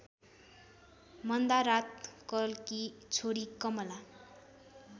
मन्दारातलकी छोरी कमला